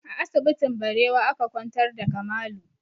A asibitin Barewa aka kwantar da Kamalu